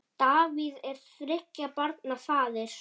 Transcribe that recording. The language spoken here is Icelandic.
Davíð er þriggja barna faðir.